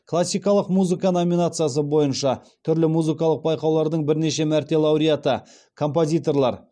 классикалық музыка номинациясы бойынша түрлі музыкалық байқаулардың бірнеше мәрте лауреаты композиторлар